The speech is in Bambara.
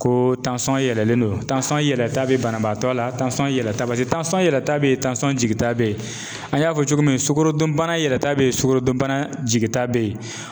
Ko yɛlɛlen don yɛlɛ ta bi banabaatɔ la, yɛ yɛlɛn ta bali yɛlɛ ta be yen jigi ta be yen an y'a fɔ cogo min sukorodunbana yɛlɛta be yen sukarodunbana jigi ta be yen